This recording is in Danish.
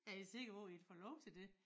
Er i sikker på i får lov til dét?